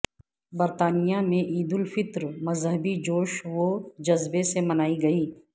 برطانیہ میں عید الفطر مذہبی جوش و جذبے سے منائی گئی